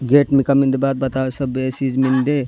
गेट मिकमिंग द बात बता सबे सीज मिन्दे।